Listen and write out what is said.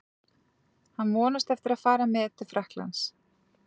Hann vonast eftir að fara með til Frakklands.